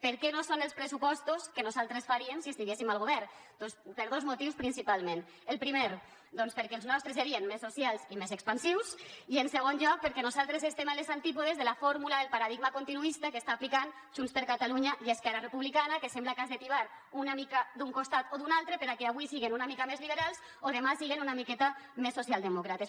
per què no són els pressupostos que nosaltres faríem si estiguéssim al govern doncs per dos motius principalment el primer perquè els nostres serien més socials i més expansius i en segon lloc perquè nosaltres estem a les antípodes de la fórmula del paradigma continuista que estan aplicant junts per catalunya i esquerra republicana que sembla que has de tibar una mica d’un costat o d’un altre perquè avui siguen una mica més liberals o demà siguen una miqueta més socialdemòcrates